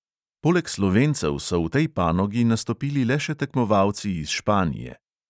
Poleg slovencev so v tej panogi nastopili le še tekmovalci iz španije.